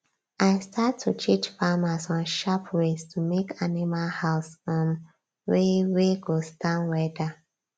i start to teach farmers on sharp ways to make animal house um wey wey go stand weather